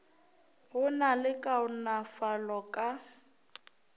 go na le kaonafalo ka